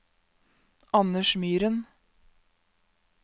Anders Myren